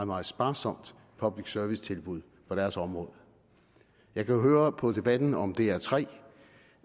meget sparsomt public service tilbud på deres område jeg kan høre på debatten om dr tre